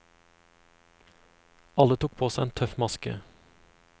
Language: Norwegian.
Alle tok på seg en tøff maske.